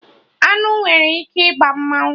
Aṅụ nwere ike ịgba mmadụ